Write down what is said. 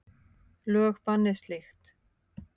Lög banni slíkt.